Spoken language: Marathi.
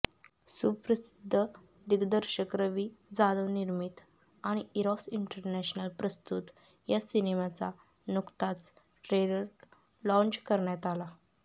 सुप्रसिद्ध दिग्दर्शक रवी जाधवनिर्मित आणि इरॉस इंटरनॅशनल प्रस्तुत या सिनेमाचा नुकताच ट्रेलर लॉंज करण्यात आला